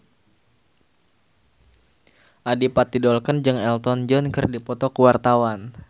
Adipati Dolken jeung Elton John keur dipoto ku wartawan